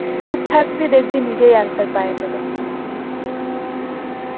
চুপ থাকবি দেখবি নিজেই answer পাইয়ে যাবে